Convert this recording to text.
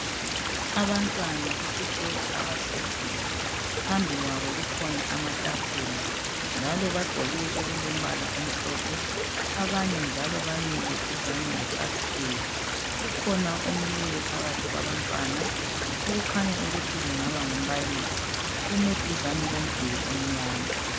Abantwana besikolo abahleziyo, phambi kwayo kukhona amathafula, njalo bagqoke okulombala omhlophe. abanye njalo bamile duzane lefasithela. kukhona omileyo phambi kwabantwana, okukanya ukuthi angaba ngumbalisi, ume duzane lomduli omnyama.